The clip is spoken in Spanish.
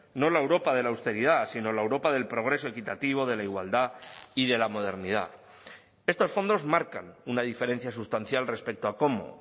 no la europa de la austeridad sino la europa del progreso equitativo de la igualdad y de la modernidad estos fondos marcan una diferencia sustancial respecto a cómo